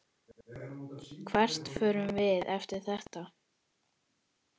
Hvert förum við eftir þetta?